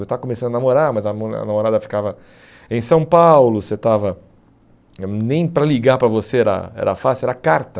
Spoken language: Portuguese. Eu estava começando a namorar, mas a namorada ficava em São Paulo, você estava nem para ligar para você era era fácil, era carta.